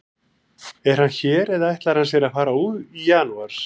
Er hann hér eða ætlar hann sér að fara í janúar?